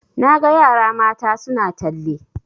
Na ga yara mata suna talle